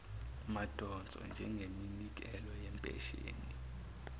madonso njengeminikelo yempesheni